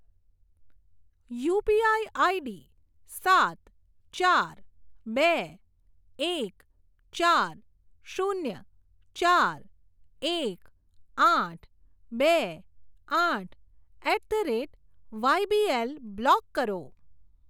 UPI ID સાત ચાર બે એક ચાર શૂન્ય ચાર એક આઠ બે આઠ at the rate YBL block કરો.